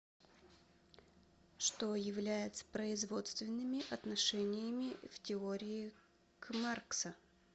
что является производственными отношениями в теории к маркса